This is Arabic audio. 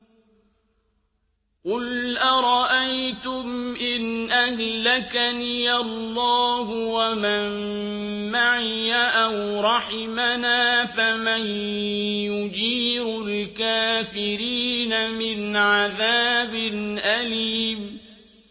قُلْ أَرَأَيْتُمْ إِنْ أَهْلَكَنِيَ اللَّهُ وَمَن مَّعِيَ أَوْ رَحِمَنَا فَمَن يُجِيرُ الْكَافِرِينَ مِنْ عَذَابٍ أَلِيمٍ